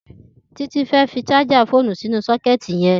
Titi fẹ́ fi sàjà fónú sinú sọkẹti yẹn